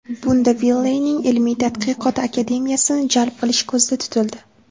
Bunda Wiley’ning Ilmiy-tadqiqot Akademiyasini jalb qilish ko‘zda tutildi.